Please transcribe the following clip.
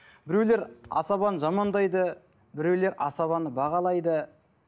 біреулер асабаны жамандайды біреулер асабаны бағалайды